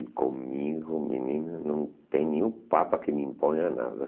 E comigo, menina, não tem nenhum papa que me imponha nada.